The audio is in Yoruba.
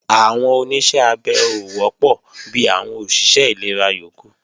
Àwọn Oníṣẹ́ abẹ ò wọ́pọ̀ bi àwọn òṣìṣẹ́ ìlera yókù